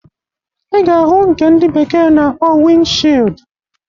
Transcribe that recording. Ị ga-ahụ nke ndị bekee na-akpọ wịnd shịld.